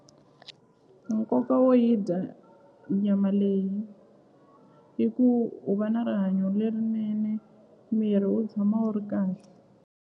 Nkoka wo yi dya nyama leyi i ku u va na rihanyo lerinene miri wu tshama wu ri kahle.